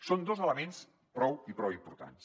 són dos elements prou importants